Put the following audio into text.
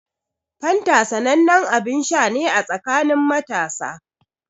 Fanta sanannen abin sha ne a tsakanin matasa.